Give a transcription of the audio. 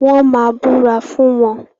Wọ́n máa búra fún wọn.